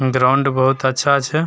Ground बहुत अच्छा छै ।